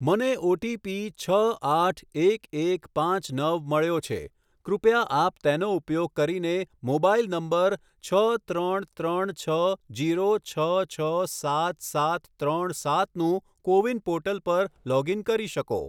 મને ઓટીપી છ આઠ એક એક પાંચ નવ મળ્યો છે કૃપયા આપ તેનો ઉપયોગ કરીને મોબાઈલ નંબર છ ત્રણ ત્રણ છ ઝીરો છ છ સાત સાત ત્રણ સાતનું કૉવિન પૉર્ટલ પર લૉગ ઈન કરી શકો